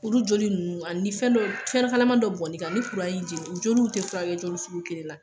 Olu joli ninnu ani ni fɛn dɔ fɛn kalaman dɔ bɔnna i kan ni kuran y'i jeni u joliw tɛ furakɛ jeli sugu kelen la